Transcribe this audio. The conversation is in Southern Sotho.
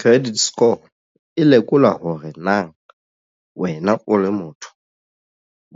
Credit score e lekola hore na wena o le motho